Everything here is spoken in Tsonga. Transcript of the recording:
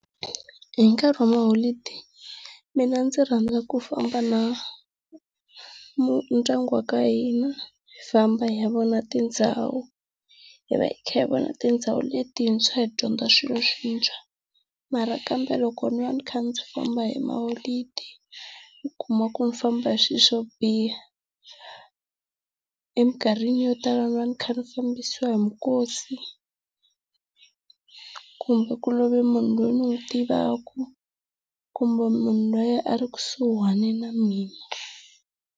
Hi nkarhi wa maholideyi mina ndzi rhandza ku famba na ndyangu wa ka hina, hi famba hi ya vona tindhawu, hi va hi kha hi vona tindhawu letintshwa hi dyondza swilo swintshwa. Mara kambe loko ni va ni kha ndzi famba hi ma holideyi u kuma ku ni famba hi swilo swo biha. Emikarhini yo tala ni va ni kha ni fambisiwa hi mikosi, kumbe ku love munhu loyi ni n'wi tivaka, kumbe munhu loyi a i ekusuhana na mina.